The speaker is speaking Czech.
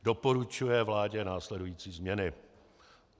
Doporučuje vládě následující změny: